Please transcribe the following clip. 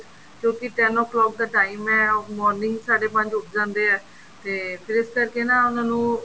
ਕਿਉਂਕਿ ten o clock ਦਾ time ਹੈ or morning ਸਾਢੇ ਪੰਜ ਉੱਠ ਜਾਂਦੇ ਏ ਤੇ ਫ਼ਿਰ ਇਸ ਕਰਕੇ ਨਾ ਉਹਨਾ ਨੂੰ